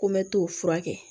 Ko n bɛ t'o furakɛ